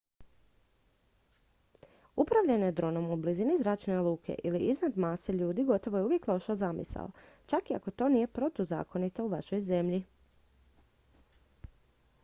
upravljanje dronom u blizini zračne luke ili iznad mase ljudi gotovo je uvijek loša zamisao čak i ako to nije protuzakonito u vašoj zemlji